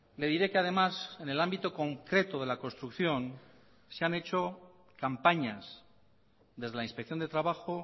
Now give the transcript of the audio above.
le diré que además en el ámbito concreto de la construcción se han hecho campañas desde la inspección de trabajo